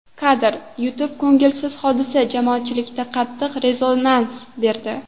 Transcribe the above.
Kadr: YouTube Ko‘ngilsiz hodisa jamoatchilikda qattiq rezonans berdi.